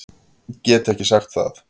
Get ekki sagt það.